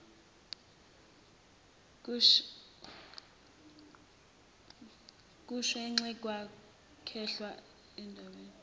kushenxa kwakhelwe embonweni